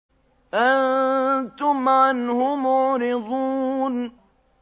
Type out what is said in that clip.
أَنتُمْ عَنْهُ مُعْرِضُونَ